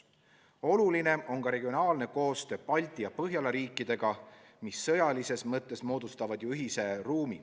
Oluline on ka regionaalne koostöö teiste Baltimaadega ja Põhjala riikidega, mis sõjalises mõttes moodustavad ju ühise ruumi.